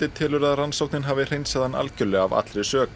telur að rannsóknin hafi hreinsað hann algjörlega af allri sök